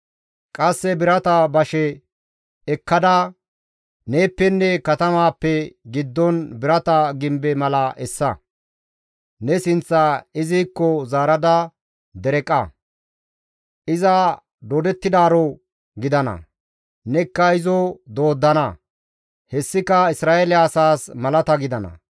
Qasse birata bashe ekkada neeppenne katamaappe giddon birata gimbe mala essa. Ne sinththaa izikko zaarada dereqa; iza doodettidaaro gidana; nekka izo dooddana. Hessika Isra7eele asaas malata gidana.